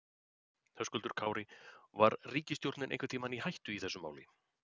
Höskuldur Kári: Var ríkisstjórnin einhvern tímann í hættu í þessu máli?